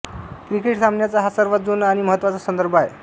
cricket सामन्याचा हा सर्वात जुना आणि महत्त्वाचा संदर्भ आहे